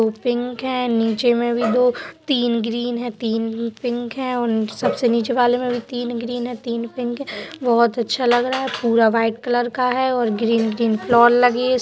उ पिंक है | नीचे में भी दो तीन ग्रीन है | तीन पिंक है और सबसे नीचे वाले में भी तीन ग्रीन है तीन पिंक है | बहोत अच्छा लग रहा है पूरा वाइट कलर का है और ग्रीन ग्रीन फ्लावर लगी है।